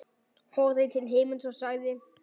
Horfði til himins og sagði: